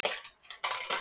er vanvirðing að fagna?